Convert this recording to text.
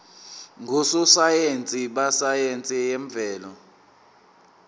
ngososayense besayense yemvelo